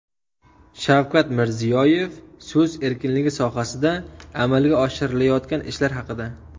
Shavkat Mirziyoyev so‘z erkinligi sohasida amalga oshirilayotgan ishlar haqida.